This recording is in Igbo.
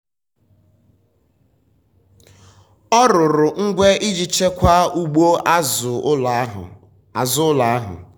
ọ rụrụ ngwe iji chekwaa ugbo azụ ụlọ ahụ azụ ụlọ ahụ.